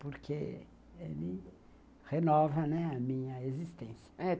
Porque ele renova, né, a minha existência. É